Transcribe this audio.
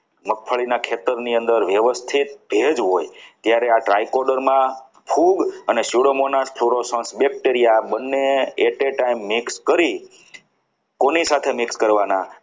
મગફળીના ખેતરની અંદર વ્યવસ્થિત ભેજ હોય ત્યારે આ try coder માં ખૂબ અને સુદામા નિવસન coder bacteria બંને at a time mix કરી કોની સાથે mix કરવાના.